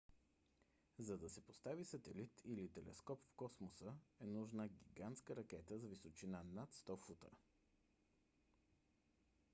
за да се постави сателит или телескоп в космоса е нужна гигантска ракета с височина над 100 фута